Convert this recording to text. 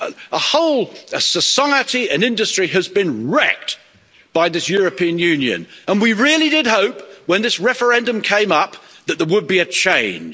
A whole society, an industry, has been wrecked by this European Union, and we really did hope when this referendum came up that there would be a change.